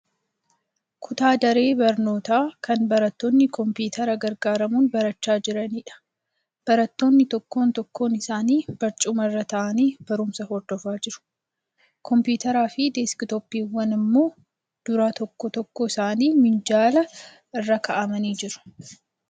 Kun daree barnootaa kan barattoonni kompiwuutera gargaaramuun barachaa jiraniidha. Barattoonni tokkoon tokkoon isaanii barcuma irra taa'anii barumsa hordofaa jiru. Kompiwuuteraa fi deesk-tooppiiwwan immoo dura tokkoo tokkoo isaanii minjaala irra kaa'amanii jiru.